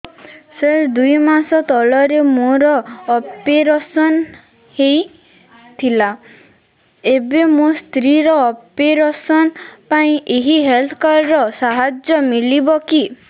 ସାର ଦୁଇ ମାସ ତଳରେ ମୋର ଅପେରସନ ହୈ ଥିଲା ଏବେ ମୋ ସ୍ତ୍ରୀ ର ଅପେରସନ ପାଇଁ ଏହି ହେଲ୍ଥ କାର୍ଡ ର ସାହାଯ୍ୟ ମିଳିବ କି